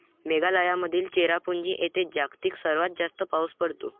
मेघालयामधील चेरापुंजी येथे जगातील सर्वात जास्त पाऊस पडतो.